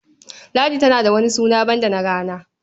Ladi tana da wani suna banda na rana?